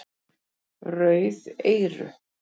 Rauð eyru